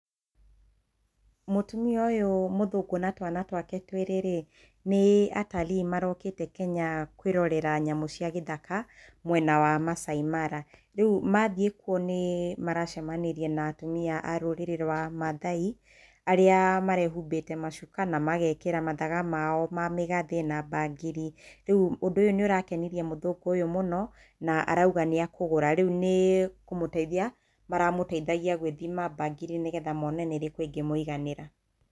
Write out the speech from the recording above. Mũtumia ũyũ mũthũngũ na twana twake twĩrĩ-rĩ, nĩ atalii marokĩte Kenya kwĩrorera nyamũ cia gĩthaka mwena wa Masaai Mara. Rĩu mathiĩ kũo nĩ maracemanirie na atumia a rũrĩrĩ rwa mathai arĩa marehumbĩte macuka na magekĩra mathaga mao ma mĩgathĩ na bangiri. Rĩu ũndũ ũyũ nĩ ũrakenirie mũthũngũ ũyũ mũno na arauga nĩ akũgũra. Rĩu nĩ kũmũteithia maramũteithagia gwĩthima bangiri nĩgetha mone nĩ ĩrĩkũ ĩngĩmũiganĩra.